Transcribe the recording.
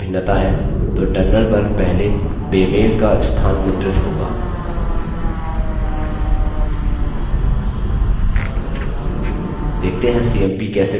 यदि उनके कंटेंट्स में भिन्नता है तो terminal पर पहले बेमेल का स्थान मुद्रित होगा